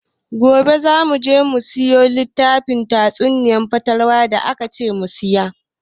Gobe za mu je mu siyo littafin tatsuniyar fatalwa da akace mu siya.